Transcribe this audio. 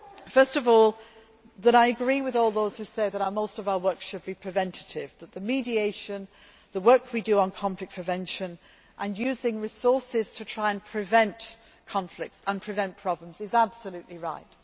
First of all, I agree with all those who say that most of our work should be preventative, that the mediation, the work we do on conflict prevention and using resources to try to prevent conflicts and prevent problems is absolutely right.